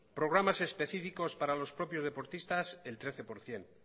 programas específicos para los propios deportistas el trece por ciento